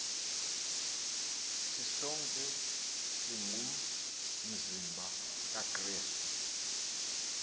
sisonke singumzimba kakrestu